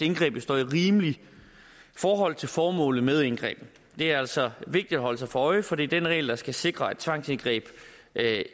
indgrebet står i rimeligt forhold til formålet med indgrebet det er altså vigtigt at holde sig for øje for det er den regel der skal sikre at tvangsindgreb